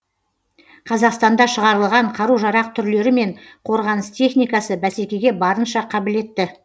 қазақстанда шығарылған қару жарақ түрлері мен қорғаныс техникасы бәсекеге барынша қабілетті